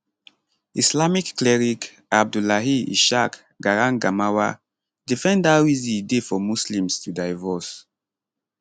islamic cleric abdullahi ishaq garangamawa defend how easy e dey for muslims to divorce